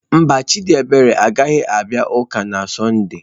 Mba, Chidiebere agaghị abịa ụka na sonde.